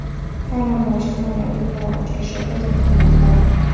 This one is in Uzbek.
ta’lim va ijtimoiy obyektlar ochilishi ko‘zda tutilmoqda.